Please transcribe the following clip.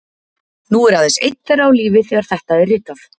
Nú er aðeins einn þeirra á lífi þegar þetta er ritað